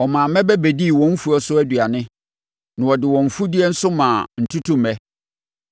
Ɔmaa mmɛbɛ bɛdii wɔn mfuo so aduane na ɔde wɔn mfudeɛ nso maa ntutummɛ.